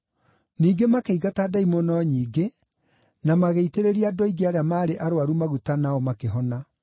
Ningĩ makĩingata ndaimono nyingĩ na magĩitĩrĩria andũ aingĩ arĩa maarĩ arũaru maguta nao makĩhona.